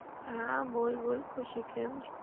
હા બોલ બોલ ખુશી કેમ છે?